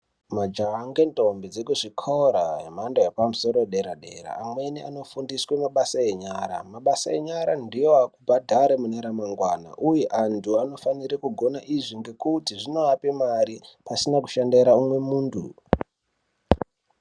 Majaha ngendombi dzekuzvikora zvemhando yepamusoro yedera dera. Amweni anofundiswa mashoko enyara, mabasa enyara ndiwo akubhadhara mune ramangwana uye anthu anofanira kugone izvi ngekuti zvinoape mari pasina kushandira munthu.